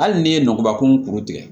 Hali n'i ye nɔgɔbakun kuru tigɛ